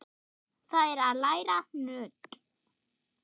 Það er að læra nudd.